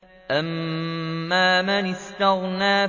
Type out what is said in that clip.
أَمَّا مَنِ اسْتَغْنَىٰ